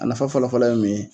A nafa fɔlɔfɔlɔ ye mun ye ?